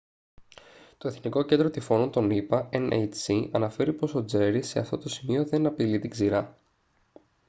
το εθνικό κέντρο τυφώνων των ηπα nhc αναφέρει πως ο τζέρι σε αυτό το σημείο δεν απειλεί την ξηρά